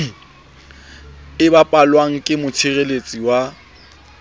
e bapalwang ke motshireletsi wa